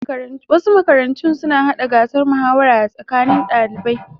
Wasu makarantun suna hada gasar muhawara a tsakanin ɗalibai.